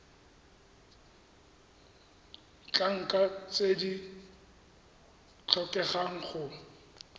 ditlankana tse di tlhokegang go